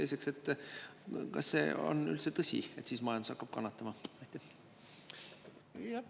Teiseks, kas see on üldse tõsi, et majandus hakkab siis kannatama?